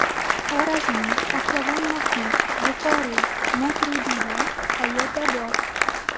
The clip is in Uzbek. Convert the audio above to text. Xorazmiy, Pahlavon Mahmud, Buxoriy, Moturudiylar qayerda bor?